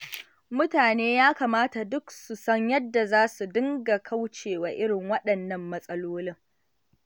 Mutane ya kamata duk su san yadda za su dinga kaucewa irin waɗannan matsalolin.